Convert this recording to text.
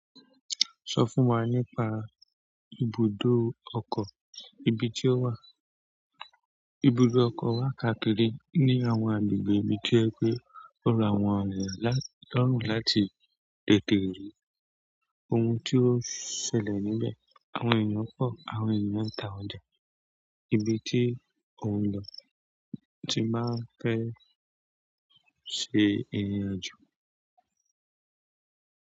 Sọ fún wa nípa ibùdó ọkọ̀, ibi tí ó wà. Ibùdó ọkọ̀ wà káàkiri ní àwọn agbègbè ibi tí o jẹ pé ó rọ àwọn ènìyàn lọ́rùn láti tètè rí ohun tí ó ṣẹlẹ̀ níbẹ̀, àwọn ènìyàn pọ̀, àwọn ènìyàn ń ta ọjà, ibi tí oun lo ti máa ń fẹ́ ṣe ìrìnàjò.